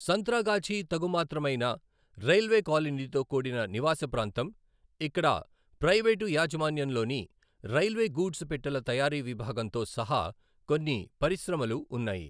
సంత్రాగాఛీ తగుమాత్రమైన రైల్వే కాలనీతో కూడిన నివాస ప్రాంతం, ఇక్కడ ప్రైవేటు యాజమాన్యంలోని రైల్వే గూడ్స్ పెట్టెల తయారీ విభాగంతో సహా కొన్ని పరిశ్రమలు ఉన్నాయి.